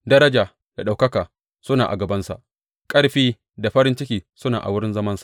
Daraja da ɗaukaka suna a gabansa; ƙarfi da farin ciki suna a wurin zamansa.